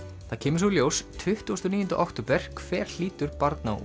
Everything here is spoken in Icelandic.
það kemur svo í ljós tuttugasta og níunda október hver hlýtur barna og